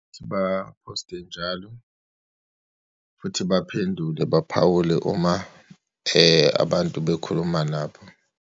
Futhi baphoste njalo, futhi baphendule, baphawule uma abantu bekhuluma nabo.